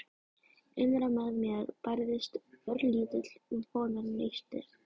Innra með mér bærðist örlítill vonarneisti.